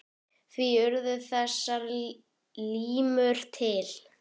Því urðu þessar limrur til.